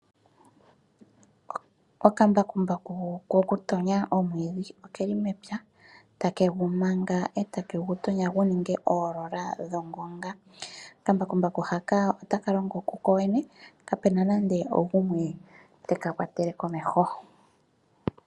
Okambakumbuku ko ku tonya omwiidhi ke li mepya ta ke gu manga eta ke gu tonyo gu ninge oolola dhongonga. Okambakumbaku hoka ota ka longo ku kokene, kapena nande ogumwe te ka kwatele komeho.